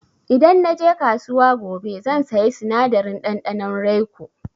Idan na je kasuwa gobe zan saya sinadarin ɗanɗanon raiko.